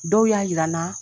Dɔw y'a jira n na